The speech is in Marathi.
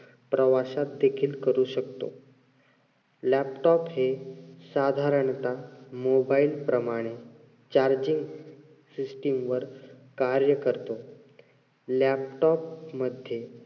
प्रवासात देखील करू शकतो. laptop हे साधारणतः mobile प्रमाणे charging system वर कार्य करतो. laptop मध्ये